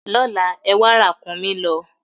Lọ́la, ẹwà ràkúnmí lọ!